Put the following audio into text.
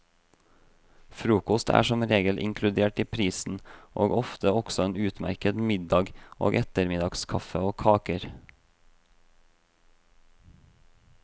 Frokost er som regel inkludert i prisen, og ofte også en utmerket middag og ettermiddagskaffe og kaker.